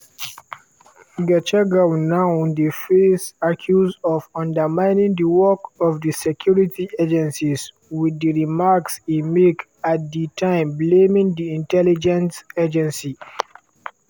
gachagua now dey face accuse of undermining di work of di security agencies with di remarks e make at di time blaming di intelligence agency.